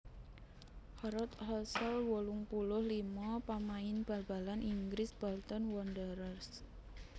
Harold Hassall wolung puluh limo pamain bal balan Inggris Bolton Wanderers